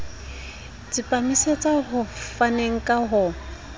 tsepamisetsa ho faneng ka ho